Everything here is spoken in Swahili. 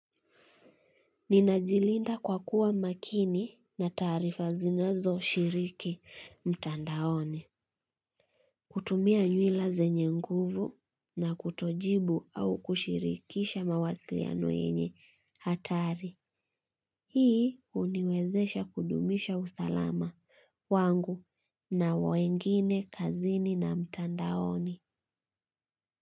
Ninajilinda kwa kuwa makini na taarifa zinazo shiriki mtandaoni. Kutumia nywila zenye nguvu na kuto jibu au kushirikisha mawasiliano yenye hatari. Hii huniwezesha kudumisha usalama wangu na wengine kazini na mtandaoni.